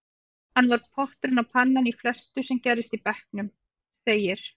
Hann var potturinn og pannan í flestu sem gerðist í bekknum, segir